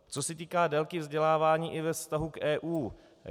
Co se týká délky vzdělávání i ve vztahu k EU.